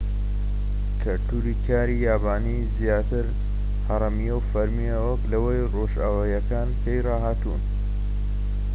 کەلتوری کاری یابانی زیاتر هەڕەمییە و فەرمیە وەك لەوەی ڕۆژئاواییەکان پێی ڕاهاتوون